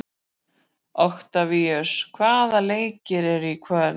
Oktavíus, hvaða leikir eru í kvöld?